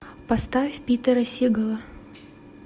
поставь питера сигала